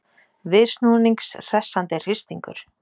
Viðsnúnings hressandi hristingur